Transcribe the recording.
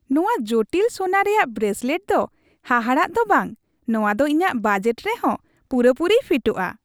ᱱᱚᱶᱟ ᱡᱚᱴᱤᱞ ᱥᱳᱱᱟ ᱨᱮᱭᱟᱜ ᱵᱨᱮᱥᱞᱮᱴ ᱫᱚ ᱦᱟᱦᱟᱲᱟᱜ ᱫᱚ ᱵᱟᱝ, ᱱᱚᱶᱟ ᱫᱚ ᱤᱧᱟᱹᱜ ᱵᱟᱡᱮᱴ ᱨᱮᱦᱚᱸ ᱯᱩᱨᱟᱹ ᱯᱩᱨᱤᱭ ᱯᱷᱤᱴᱚᱜᱼᱟ ᱾